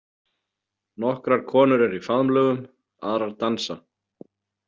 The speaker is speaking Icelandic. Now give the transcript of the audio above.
Nokkrar konur eru í faðmlögum, aðrar dansa.